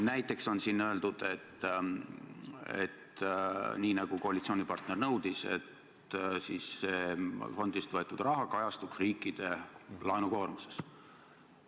Näiteks on siin öeldud, et nii nagu koalitsioonipartner nõudis, peaks fondist võetud raha kajastuma riikide laenukoormuses.